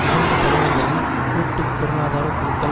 இரண்டு தலைவர்களும் கூட்டு பொருளாதார குழுக்கள்